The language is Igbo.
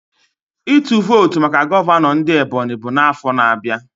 Ịtụ votu maka gọvanọ ndị Ebonyi bụ na afo na abịa